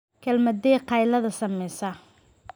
Kelmaddee qaylada samaysaa